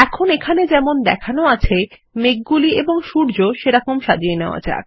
এখন এখানে যেমন দেখানো আছে মেঘগুলি এবং সূর্য সেরকম সাজিয়ে নেওয়া যাক